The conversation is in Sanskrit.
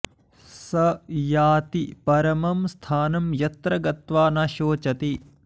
स याति परमं स्थानं यत्र गत्वा न शोचति